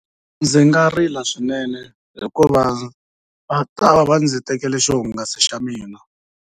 Ndzi nga rila swinene hikuva va ta va ndzi tekela xihungasi xa mina.